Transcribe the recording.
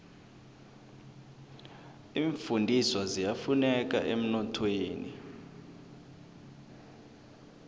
iimfundiswa ziyafuneka emnothweni